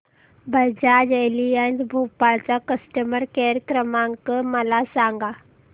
Bajaj Allianz Bhopal चा customer care क्रमांक काय आहे मला सांगा